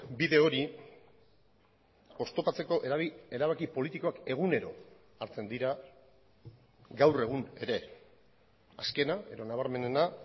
bide hori oztopatzeko erabaki politikoak egunero hartzen dira gaur egun ere azkena edo nabarmenena